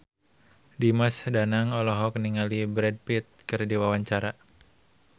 Dimas Danang olohok ningali Brad Pitt keur diwawancara